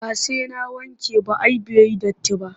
Ba sai na wanke ba ai bai yi datti ba